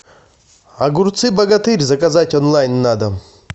огурцы богатырь заказать онлайн на дом